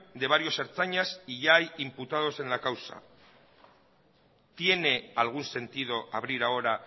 de varios ertzainas y ya hay imputados en la causa tiene algún sentido abrir ahora